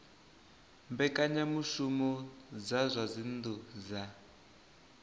mbekanyamushumo dza zwa dzinnu dza